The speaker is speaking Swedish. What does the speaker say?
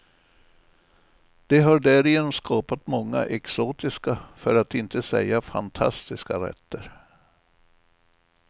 De har därigenom skapat många exotiska, för att inte säga fantastiska rätter.